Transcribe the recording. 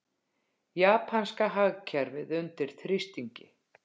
Japanska hagkerfið undir þrýstingi